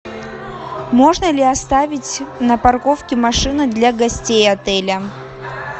можно ли оставить на парковке машины для гостей отеля